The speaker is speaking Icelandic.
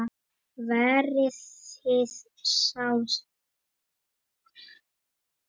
Verið þið þá sæl!